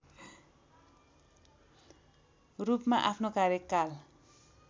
रूपमा आफ्नो कार्यकाल